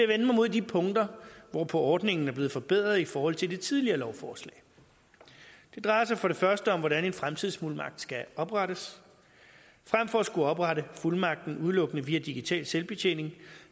vende mig mod de punkter hvor ordningen er blevet forbedret i forhold til det tidligere lovforslag det drejer sig for det første om hvordan en fremtidsfuldmagt skal oprettes fremfor at skulle oprette fuldmagten udelukkende via digital selvbetjening